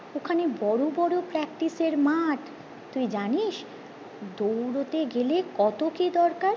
ওখানে বড়ো বড়ো practice এর মাঠ তুই জানিস দৌড়োতে গেলে কত কি দরকার